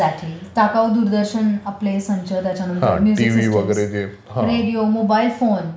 टाकाऊ दूरदर्शन आपले संच त्याच्यानंतर music systems, mobile phone most common, computers